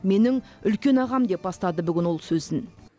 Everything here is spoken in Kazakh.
менің үлкен ағам деп бастады бүгін ол сөзін